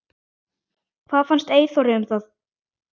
Hvað fannst Eyþóri um það?